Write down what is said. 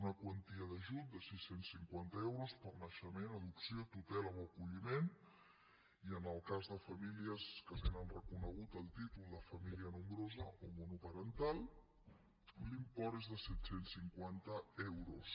una quantia d’ajut de sis cents i cinquanta euros per naixement adopció tutela o acolliment i en el cas de famílies que tenen reconegut el títol de família nombrosa o monoparental l’import és de set cents i cinquanta euros